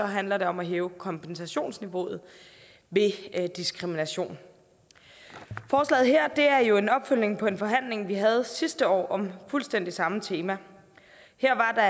handler om at hæve kompensationsniveauet ved diskrimination forslaget her er jo en opfølgning på en forhandling vi havde sidste år om fuldstændig samme tema her var der